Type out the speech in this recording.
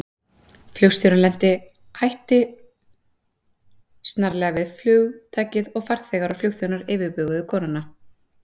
Flugstjórinn lenti hætti snarlega við flugtakið og farþegar og flugþjónar yfirbuguðu konuna.